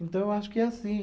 Então eu acho que é assim.